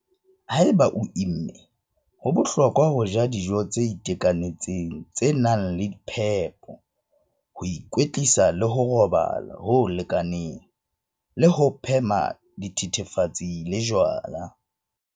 Haeba o imme, ho bohlokwa ho ja dijo tse itekanetseng tse nang le phepo, ho ikwetlisa le ho robala ho lekaneng le ho phema dithethefatsi le jwala.